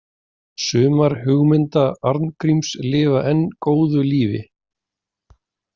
Sumar hugmynda Arngríms lifa enn góðu lífi.